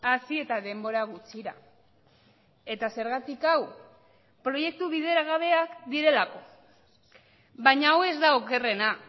hasi eta denbora gutxira eta zergatik hau proiektu bideragabeak direlako baina hau ez da okerrena